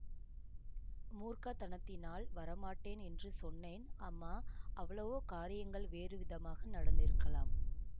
மூர்க்கத்தனத்தினால் வரமாட்டேன் என்று சொன்னேன் அம்மா அவ்வளவோ காரியங்கள் வேறுவிதமாக நடந்திருக்கலாம்